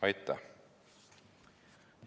Aitäh!